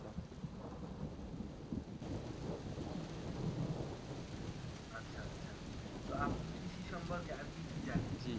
তা আপনি কৃষি সম্পর্কে আর কি কি জানেন